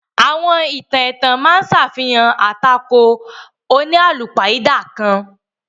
Àwọn ìtàn ètàn ma á ṣàfihàn atàkò oníalúpáidà kan.